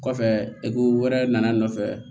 Kɔfɛ wɛrɛ nana n nɔfɛ